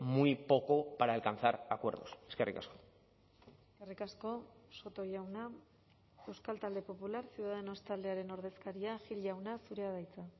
muy poco para alcanzar acuerdos eskerrik asko eskerrik asko soto jauna euskal talde popular ciudadanos taldearen ordezkaria gil jauna zurea da hitza